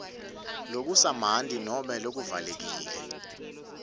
lokusamanti nobe letivalekile